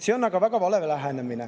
See on väga vale lähenemine.